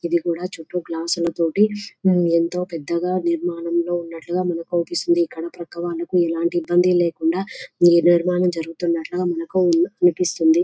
ఇది కూడా చుట్టూ గ్లాసుల తోటి ఎంతో పెద్దగా నిర్మాణంలో ఉన్నట్లుగా మనకు అవుపిస్తుంది. ఇక్కడ పక్కా వాళ్లకి ఎలాంటి ఇబ్బందులు లేకుండా నిర్మాణాలు జరుగుతున్నట్లుగా మనకి అనిపిస్తుంది.